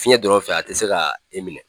Fiɲɛ dɔ fɛ a ti se ka e minɛ